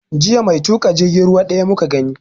Jiya mai tuƙa jirgin ruwa ɗaya muka gani